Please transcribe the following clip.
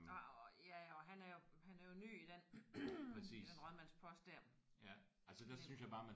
Ja og han er jo han er jo ny i den i den rådmandspost der ik